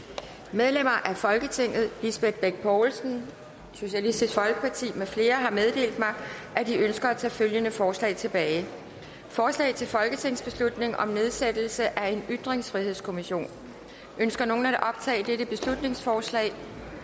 medlemmer af folketinget lisbeth bech poulsen med flere har meddelt mig at de ønsker at tage følgende forslag tilbage forslag til folketingsbeslutning om nedsættelse af en ytringsfrihedskommission ønsker nogen at optage dette beslutningsforslag